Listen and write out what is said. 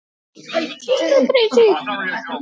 Þannig átti gullið að vaxa.